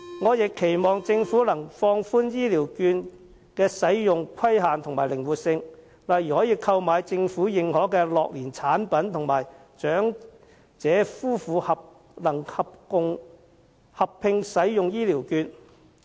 我亦期望政府能放寬醫療券的使用規限和增資其靈活性，例如可用於購買政府認可的樂齡產品及能為長者夫婦合併使用。